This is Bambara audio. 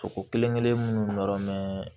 Ko kelen kelen minnu nɔrɔ mɛn